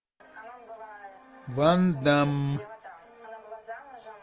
ван дамм